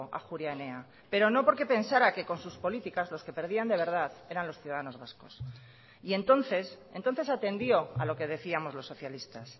ajuria enea pero no porque pensara que con sus políticas los que perdían de verdad eran los ciudadanos vascos y entonces entonces atendió a lo que decíamos los socialistas